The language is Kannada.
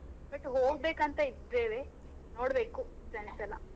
But ಹೋಗ್ಬೇಕಂತ ಇದ್ದೇವೆ ನೋಡ್ಬೇಕು friends ಎಲ್ಲ.